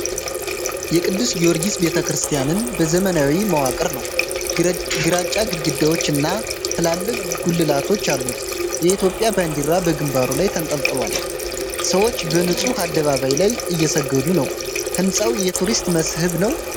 የቅዱስ ጊዮርጊስ ቤተ ክርስቲያን ዘመናዊ መዋቅር ነው። ግራጫ ግድግዳዎች እና ትላልቅ ጉልላቶች አሉት። የኢትዮጵያ ባንዲራ በግንባሩ ላይ ተንጠልጥሏል። ሰዎች በንጹህ አደባባይ ላይ እየሰገዱ ነው። ሕንፃው የቱሪስት መስህብ ነው?